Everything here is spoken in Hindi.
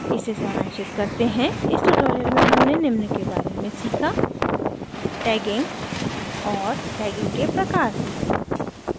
इसे सारांशित करते हैं इस tutorial में हमने निम्न के बारे में सीखा: